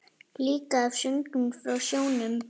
Líka af söngnum frá sjónum.